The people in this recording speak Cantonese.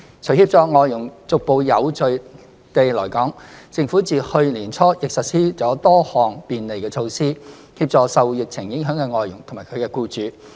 除協助外傭逐步有序地來港，政府自去年年初亦實施了多項便利措施，協助受疫情影響的外傭及其僱主。